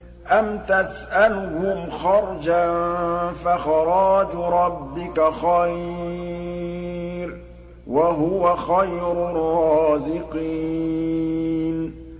أَمْ تَسْأَلُهُمْ خَرْجًا فَخَرَاجُ رَبِّكَ خَيْرٌ ۖ وَهُوَ خَيْرُ الرَّازِقِينَ